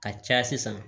Ka caya sisan